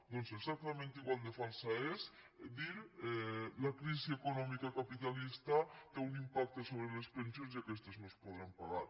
doncs exactament igual de fals és dir la crisi econòmica capitalista té un impacte sobre les pensions i aquestes no es podran pagar